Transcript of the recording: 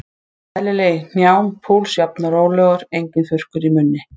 Eðlileg í hnjám, púls jafn og rólegur, enginn þurrkur í munni.